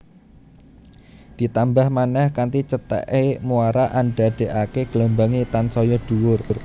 Ditambah manèh kanthi cethèké muara andadèkaké gelombangé tansaya dhuwur